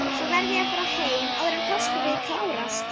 Svo verð ég að fara heim, áður en páskafríið klárast.